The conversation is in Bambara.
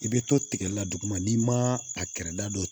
I bɛ to tigɛli la duguma n'i ma a kɛrɛda dɔ